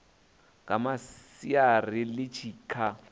nga masiari ḽi tshi kha